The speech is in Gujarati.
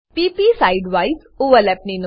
p પ side વાઇઝ ઓવરલેપ